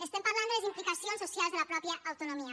estem parlant de les implicacions socials de la pròpia autonomia